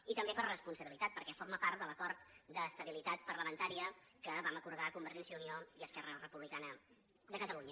i també per responsabilitat perquè forma part de l’acord d’estabilitat parlamentària que vam acordar convergència i unió i esquerra republicana de catalunya